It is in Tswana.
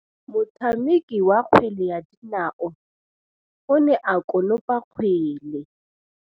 Motshameki wa kgwele ya dinaô o ne a konopa kgwele.